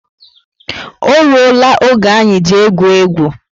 O rụọ la oge anyị ji egwu égwu